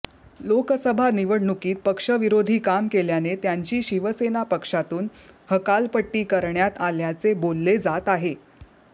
लोकसभा निवडणूकीत पक्ष विरोधी काम केल्याने त्यांची शिवसेना पक्षातून हकालपट्टी करण्यात आल्याचे बोलले जात आहे